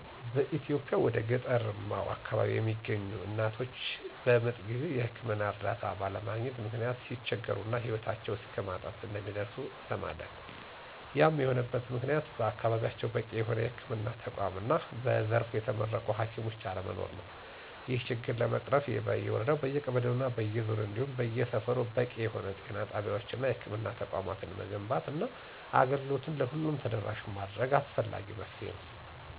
በኢትዮጵያ ወደ ገጠርማው አከባቢ የሚገኙ እናቶች በምጥ ጊዜ የህክምና እርዳታ ባለማግኘት ምክንያት ሲቸገሩ እና ሂወታቸው እስከማጣት እንደሚደርሱ እንሰማለን። ያም የሆነበት ምክንያት በአከባቢያቸው በቂ የሆነ የህክምና ተቋማት እና በዘርፉ የተመረቁ ሀኪሞች አለመኖር ነው። ይህን ችግር ለመቅረፍ በየወረዳው፣ በየቀበሌው እና በየዞኑ እንዲሁም በየሰፈሩ በቂ የሆነ ጤና ጣቢያወች እና የህክምና ተቋማትን መገንባት እና አገልግሎቱን ለሁሉም ተደራሽ ማድረግ አስፈላጊ መፍትሄ ነው።